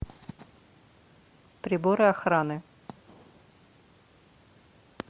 приборы охраны